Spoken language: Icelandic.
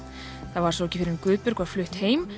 það var svo ekki fyrr en Guðbjörg var flutt heim